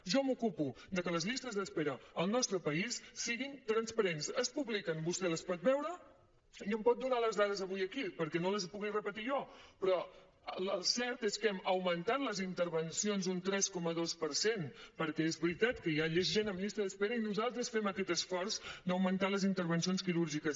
jo m’ocupo de que les llistes d’espera al nostre país siguin transparents es publiquen vostè les pot veure i em pot donar les dades avui aquí perquè no les hi pugui repetir jo però el cert és que hem augmentat les intervencions un tres coma dos per cent perquè és veritat que hi ha més gent en llista d’espera i nosaltres fem aquest esforç d’augmentar les intervencions quirúrgiques